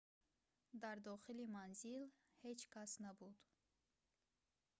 дар дохили манзил ҳеҷ кас набуд